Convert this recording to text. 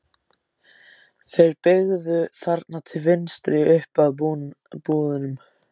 Þeir beygðu þarna til vinstri. upp að búðunum.